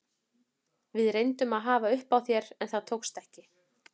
Við reyndum að hafa upp á þér en það tókst ekki.